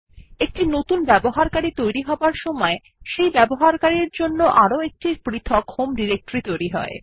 একটি নতুন ইউজার তৈরি হবার সময় সেই ব্যবহারকারীর জন্য আরও একটি পৃথক হোম ডিরেক্টরিও তৈরী হয়